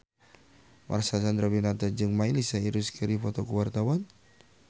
Marcel Chandrawinata jeung Miley Cyrus keur dipoto ku wartawan